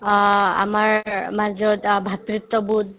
অ, আমাৰ মাজত অ ভাতৃত্ববোধ